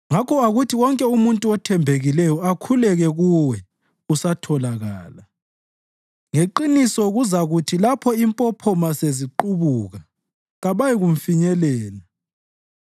Ngakho akuthi wonke umuntu othembekileyo akhuleke kuwe usatholakala; ngeqiniso kuzakuthi lapho impophoma seziqubuka, kabayi kumfinyelela.